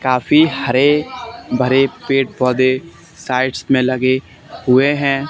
काफी हरे भरे पेड़ पौधे साइड्स में लगे हुए हैं।